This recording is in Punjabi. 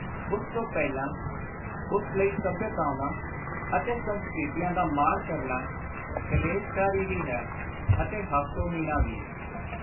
ਉਸ ਤੋਂ ਪਹਿਲਾਂ ਉਸ ਲਈ ਸੱਭਿਅਤਾਵਾਂ ਅਤੇ ਸੰਸਕ੍ਰਿਤੀਆਂ ਦਾ ਮਾਣ ਕਰਨਾ ਕਲੇਸ਼ਕਾਰੀ ਵੀ ਹੈ ਅਤੇ ਹਾਸੋ-ਹੀਣਾ ਵੀ।